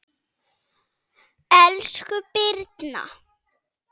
Elsku Birna.